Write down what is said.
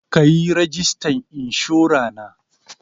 Ka yi rajistan inshora na.